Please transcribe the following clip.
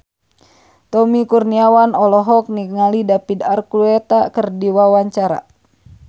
Tommy Kurniawan olohok ningali David Archuletta keur diwawancara